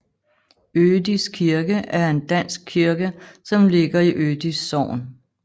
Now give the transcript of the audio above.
Ødis kirke er en dansk kirke som ligger i Ødis Sogn